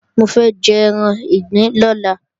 Mo fẹ́ jẹ́ran ìgbín lọ́la